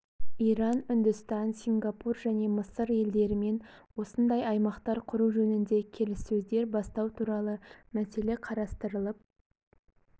иран үндістан сингапур және мысыр елдерімен осындай аймақтар құру жөнінде келіссөздер бастау туралы мәселе қарастырылып